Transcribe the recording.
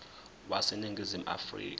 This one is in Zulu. wase ningizimu afrika